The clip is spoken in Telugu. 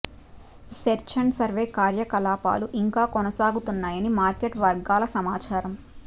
సెర్చ్ అండ్ సర్వే కార్యకలాపాలు ఇంకా కొనసాగుతున్నాయని మార్కెట్ వర్గాల సమాచారం